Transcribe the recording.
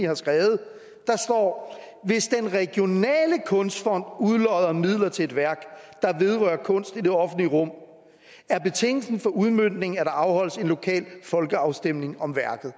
har skrevet der står hvis den regionale kunstfond udlodder midler til et værk der vedrører kunst i det offentlige rum er betingelsen for udmøntningen at der afholdes en lokal folkeafstemning om værket